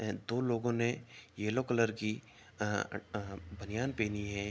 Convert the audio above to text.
दो लोगो ने येल्लो कलर की आ ऐ बनियान पहनी है।